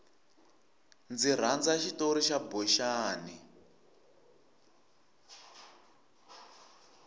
ndzi rhandza xitori xa boxani